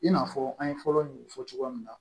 I n'a fɔ an ye fɔlɔ min fɔ cogoya min na